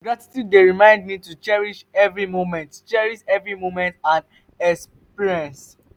gratitude dey remind me to cherish every moment cherish every moment and experience.